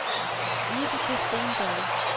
Vibeke Steenberg